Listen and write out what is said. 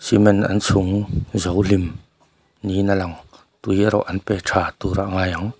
cement an chhûng zo hlim niin a lang tui erawh an pe tha tûrah ngai ang.